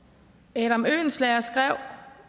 adam oehlenschläger skrev